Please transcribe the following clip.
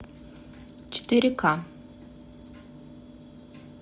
четыре ка